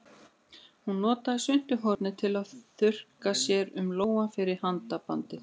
Hún notaði svuntuhornið til að þurrka sér um lófann fyrir handabandið.